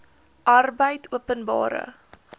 arbeidopenbare